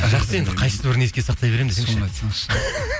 жақсы енді қайсыбірін еске сақтай беремін десеңші соны айтсаңшы